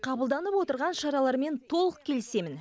қабылданып отырған шаралармен толық келісемін